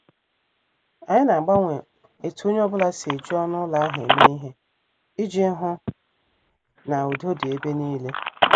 Anyị na- agbanwe etu onye ọ bụla si eji ọnụ ụlọ ahụ eme ihe iji hụ na udo dị ebe nile.